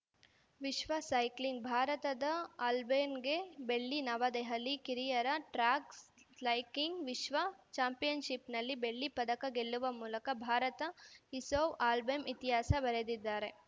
ವಿಶ್ವ ಸೈಕ್ಲಿಂಗ್‌ ಭಾರತದ ಆಲ್ಬೆನ್‌ಗೆ ಬೆಳ್ಳಿ ನವದೆಹಲಿ ಕಿರಿಯರ ಟ್ರ್ಯಾಕ್‌ ಸ್ಲಾಯ್ ಕ್ಲಿಂಗ್‌ ವಿಶ್ವ ಚಾಂಪಿಯನ್‌ಶಿಪ್‌ನಲ್ಲಿ ಬೆಳ್ಳಿ ಪದಕ ಗೆಲ್ಲುವ ಮೂಲಕ ಭಾರತ ಇಸೋವ್‌ ಆಲ್ಬೆಮ್ ಇತಿಹಾಸ ಬರೆದಿದ್ದಾರೆ